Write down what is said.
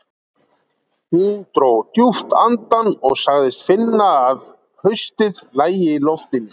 Hún dró djúpt andann og sagðist finna að haustið lægi í loftinu.